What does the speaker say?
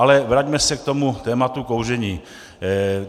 Ale vraťme se k tomu tématu kouření.